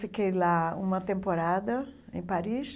Fiquei lá uma temporada, em Paris,